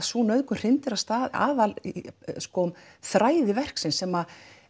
sú nauðgun hrindir af stað aðalþræði verksins sem